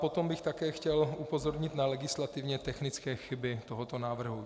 Potom bych také chtěl upozornit na legislativně technické chyby tohoto návrhu.